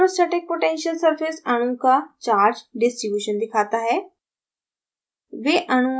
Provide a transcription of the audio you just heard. electrostatic potential surface अणु का charge distributions दिखाता है